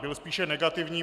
Byl spíše negativní.